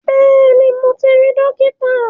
Bẹ́ẹ̀ni mo ti rí Dókítà